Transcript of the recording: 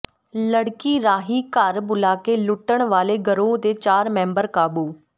ਲੜਕੀ ਰਾਹੀਂ ਘਰ ਬੁਲਾ ਕੇ ਲੁੱਟਣ ਵਾਲੇ ਗਰੋਹ ਦੇ ਚਾਰ ਮੈਂਬਰ ਕਾਬੂ